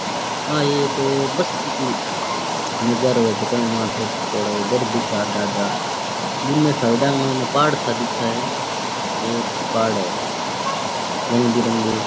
आ एक बस्ती की नजाराे है जका के माय थोड़ा थोड़ा घर दिखे आधा आधा बुने साइडा के माय पहाड़ सा दिखे बहुत पहाड़ है रंग बिरंगे --